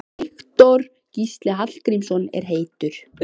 Jú, hún var auðvitað að bíða eftir svari.